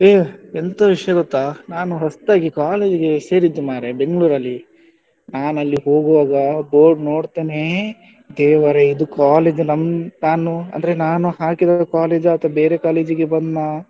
ಏ ಎಂತ ವಿಷಯ ಗೊತ್ತಾ ನಾನು ಹೊಸ್ತಾಗಿ college ಗೆ ಸೇರಿದ್ದು ಮರ್ರೆ Bangalore ಲ್ಲಿ ನಾನು ಅಲ್ಲಿ ಹೋಗುವಾಗ ಹೋಗಿ ನೋಡ್ತೇನೆ ದೇವರೇ ಇದು college ಗೆ ನಮ್ ನಾನು ಅಂದ್ರೆ ನಾನು ಹಾಕಿದ college ಅಥವಾ ಆ ಅಲ್ಲ ಬೇರೆ college ಗೆ ಬಂದ್ನಾ,